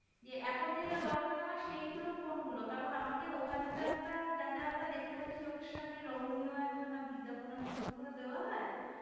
এখন যেটা দরকার আমার সেগুলো কোনগুলো কারণ ওখানে তো একটা আমরা যা যা দেখতে পাচ্ছি চোখের সামনে লোভনীয় একখানা বিজ্ঞাপনের মত মত দেওয়া হয়,